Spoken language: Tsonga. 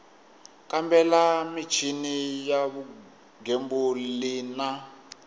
kambela michini ya vugembuli na